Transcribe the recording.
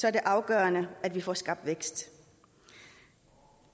er det afgørende at vi får skabt vækst